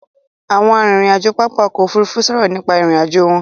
Àwọn arìnrìn-àjò pápá ọkọ̀ Òfurufú sọ̀rọ̀ nípa ìrìn-àjò wọn.